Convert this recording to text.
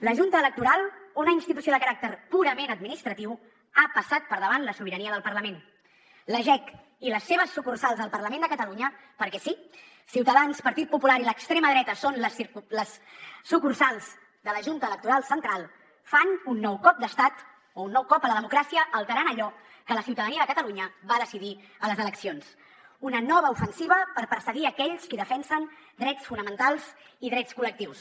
la junta electoral una institució de caràcter purament administratiu ha passat per davant de la sobirania del parlament la jec i les seves sucursals al parlament de catalunya perquè sí ciutadans partit popular i l’extrema dreta són les sucursals de la junta electoral central fan un nou cop d’estat un nou cop a la democràcia alterant allò que la ciutadania de catalunya va decidir a les eleccions una nova ofensiva per perseguir aquells que defensen drets fonamentals i drets col·lectius